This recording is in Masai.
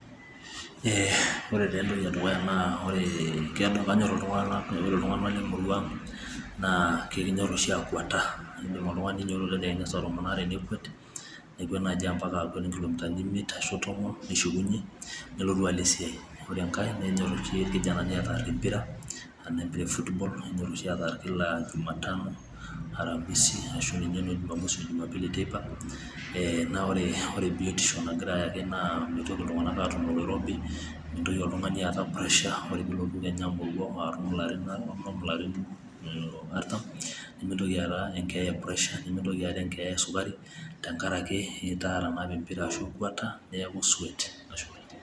Ee haw ore taa entoki edukuya naa ee kanyorr kinyorr iltung'anak lemurua, aa kakinyorr oshi akwata, ee keidim oltung'ani neinyiototo saa tomon oare, nekwet naaji akwet enkilomitani imiet ashu ompaka tomon neshukunyie nelotu alo esiai ore enkangae nenyorr oshi irkijanani aataar empira kennyorr oshi ataar kila ejumatano ooramisi arashu ninye ejumapili ee naa ore biotisho nagira ayaki naa mitoki iltung'anak aatum oloirobi, mintoki oltung'ani aata pressure ore kejaa peilotu amoruau atum ilarin arrritam ilarin umm artam nimintoki aata enkeeya e pressure nimintoki aata esukari tenkaraki itaara naapa empira arashu ekweta niaku soit.